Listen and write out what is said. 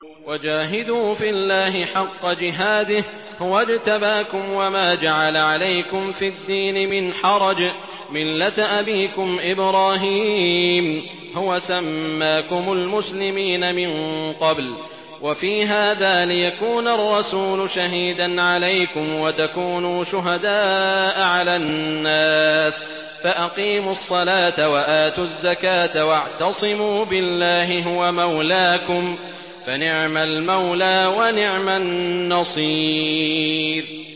وَجَاهِدُوا فِي اللَّهِ حَقَّ جِهَادِهِ ۚ هُوَ اجْتَبَاكُمْ وَمَا جَعَلَ عَلَيْكُمْ فِي الدِّينِ مِنْ حَرَجٍ ۚ مِّلَّةَ أَبِيكُمْ إِبْرَاهِيمَ ۚ هُوَ سَمَّاكُمُ الْمُسْلِمِينَ مِن قَبْلُ وَفِي هَٰذَا لِيَكُونَ الرَّسُولُ شَهِيدًا عَلَيْكُمْ وَتَكُونُوا شُهَدَاءَ عَلَى النَّاسِ ۚ فَأَقِيمُوا الصَّلَاةَ وَآتُوا الزَّكَاةَ وَاعْتَصِمُوا بِاللَّهِ هُوَ مَوْلَاكُمْ ۖ فَنِعْمَ الْمَوْلَىٰ وَنِعْمَ النَّصِيرُ